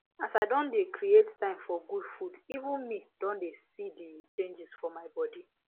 as i don dey create time for good food even me don dey see the changes for my body